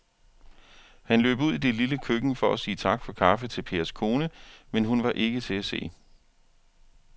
Han løb ud i det lille køkken for at sige tak for kaffe til Pers kone, men hun var ikke til at se.